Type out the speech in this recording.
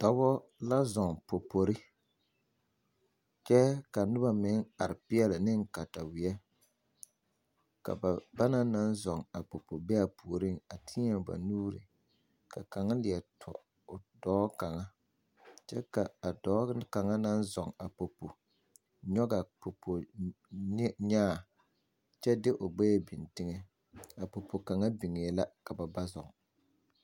Dɔbɔ la zɔɔ popori kyɛ ka nobo meŋ are neŋ kataweɛ ka ba banaŋ naŋ zɔɔ a popori be a puoreŋ a teɛ ba nuuri ka kaŋa leɛ tɔ o dɔɔ kaŋa kyɛ ka a dɔɔ kaŋa naŋ zɔɔ a popo nyɔgaa popo ne nyaa kyɛ de o gbɛɛ beŋ tegɛ a popo kaŋa begɛɛ la ka ba ba zɔɔ.